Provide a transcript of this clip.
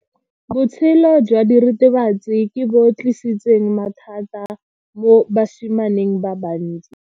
Botshelo jwa diritibatsi ke bo tlisitse mathata mo basimaneng ba bantsi.